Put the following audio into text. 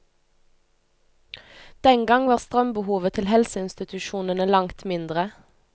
Den gang var strømbehovet til helseinstitusjonene langt mindre.